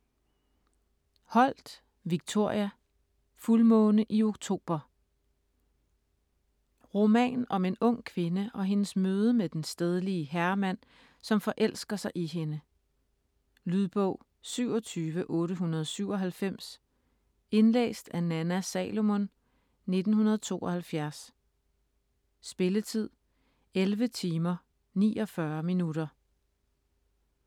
Holt, Victoria: Fuldmåne i oktober Roman om en ung kvinde og hendes møde med den stedlige herremand, som forelsker sig i hende. Lydbog 27897 Indlæst af Nanna Salomon, 1992. Spilletid: 11 timer, 49 minutter.